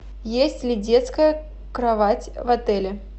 есть ли детская кровать в отеле